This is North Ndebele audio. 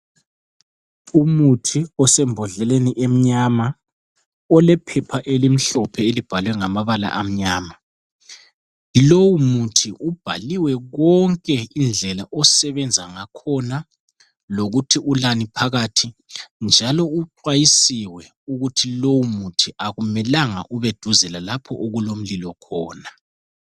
Umuthi osembodleleni emnyama, olephepha elimhlophe elibhalwe ngamabala amnyama. Lowu muthi ubhaliwe konke indlela osebenza ngakhona lokuthi ulani phakathi, njalo uxhwayisiwe ukuti lowu muntu akumelanga ube duze lalapho okulomlilo khona.